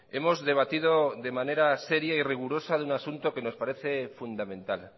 hemos debatido de manera seria y rigurosa de un asunto que nos parece fundamental